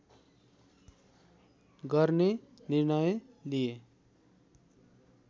गर्ने निर्णय लिए